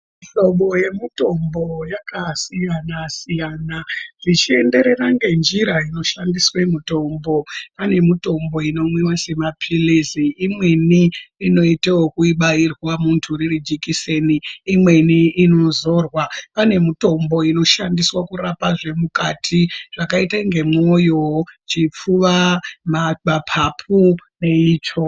Mihlobo yemitombo yakasiyana siyana, zvichienderera ngenjira inoshandiswa mitombo. Pane mitombo inomwiwa semapilizi. Imweni inoita rekubairwa muntu riri jikiseni. Imweni inozorwa. Pane mutombo inoshandiswa kurapa zvemukati zvakaita ngemwoyo, chipfuva, mapapu neitsvo.